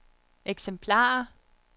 eksemplarer